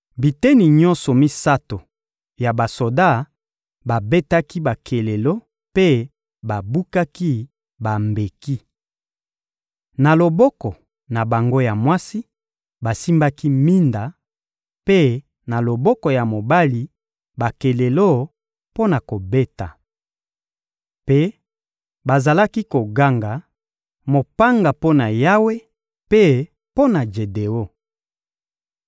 Biteni nyonso misato ya basoda babetaki bakelelo mpe babukaki bambeki. Na loboko na bango ya mwasi, basimbaki minda, mpe, na loboko ya mobali, bakelelo mpo na kobeta. Mpe bazalaki koganga: «Mopanga mpo na Yawe mpe mpo na Jedeon.»